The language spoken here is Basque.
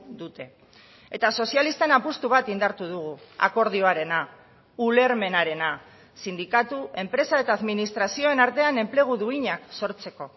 dute eta sozialisten apustu bat indartu dugu akordioarena ulermenarena sindikatu enpresa eta administrazioen artean enplegu duinak sortzeko